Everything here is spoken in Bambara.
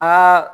Aa